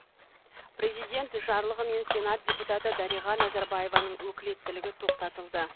президент жарлығымен сенат депутаты дариға назарбаеваның өкілеттілігі тоқтатылды